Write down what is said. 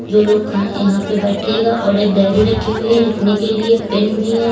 दो लोग यहां पे बैठेगा और एक डायरी रखी हुई है लिखने के लिए पेन भी है।